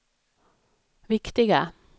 viktiga